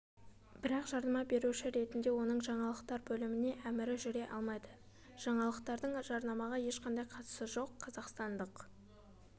бірақ жарнама беруші ретінде оның жаңалықтар бөліміне әмірі жүре алмайды жаңалықтардың жарнамаға ешқандай қатысы жоқ қазақстандық